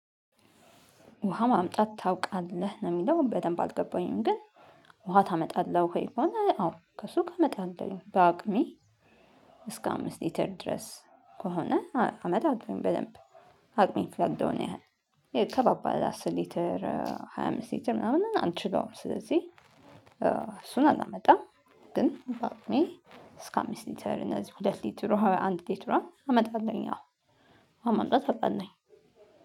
ውሃ ማምጣት ታውቃለህ ነው የሚለው በደንብ አልገባኝም ግን ውሃ ታመጣለህ ወይ? ከሆነ አዎ ከሱቅ አመጣለሁኝ በአቅሜ። እስከ አምስት ሌትር ድረስ ከሆነ አመጣለው በደንብ። አቅሜ ሚፈቅደውን ያህል ያው ከባባድ አስር ሊትር ሃያ አምስት ሊትር ምናምን አልችለውም ስለዚህ እሱን አላመጣም። ግን በአቅሜ እስከ አምስት ሊተር እነዚህ ሁለት ሊተር ውሃ አንድ ሊተር ውሃ አመጣለሁኝ አዎ። ውሃ ማምጣት አቃለሁኝ።